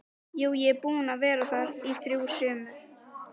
Jú, ég er búinn að vera þar í þrjú sumur